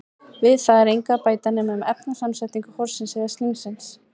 Við það er engu að bæta nema um efnasamsetningu horsins eða slímsins.